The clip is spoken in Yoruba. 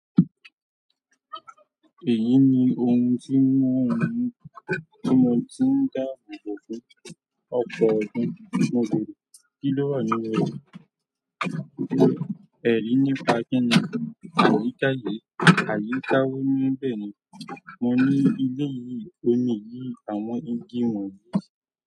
Èyí ni ohun tí ń mú ọmọ tí mo ti ń dáàbò bò fún ọ̀pọ̀ ọdún. Mo gbèrò kí ló wà nílẹ̀. Ẹ̀rí nípa kíni, àyíká yìí, àyíká wò níbẹ̀ ni. Mo ní ilé yìí, omi yìí, àwọn igi wọ̀nyí.